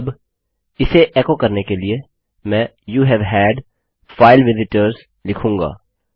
अब इसे एकोकरने के लिए मैं यूवे हैड फाइल विजिटर्स लिखूँगा